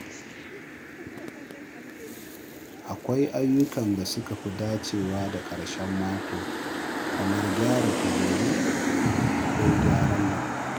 Akwai ayyukan da suka fi dacewa da ƙarshen mako kamar gyara kujeru ko gyaran lambu.